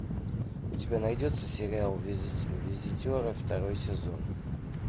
у тебя найдется сериал визитеры второй сезон